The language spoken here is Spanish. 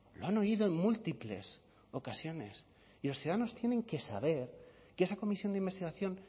lo han oído en múltiples ocasiones y los ciudadanos tienen que saber que esa comisión de investigación